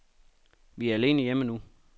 Vi er alene hjemme nu.